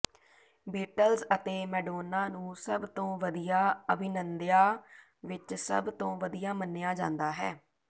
Beatles ਅਤੇ Madonna ਨੂੰ ਸਭ ਤੋਂ ਵਧੀਆ ਅਭਿਨੰਦਿਆਂ ਵਿਚ ਸਭ ਤੋਂ ਵਧੀਆ ਮੰਨਿਆ ਜਾਂਦਾ ਹੈ